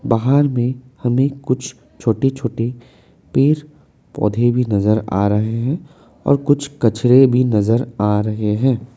बाहर में हमें कुछ छोटे छोटे पेड़ पौधे भी नजर आ रहे हैं और कुछ कचरे भी नजर आ रहे हैं।